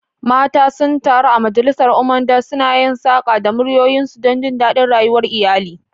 Mata sun taru a majalisar Umuada, suna yin saƙa da muryoyinsu don jin daɗin rayuwar iyali.